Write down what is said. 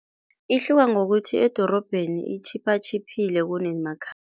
Ihluke ngokuthi edorobheni itjhiphatjhiphile